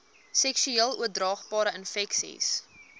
seksueel oordraagbare infeksies